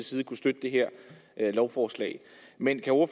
side kunne støtte det her lovforslag men